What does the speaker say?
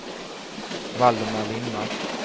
Valdemar Lindmark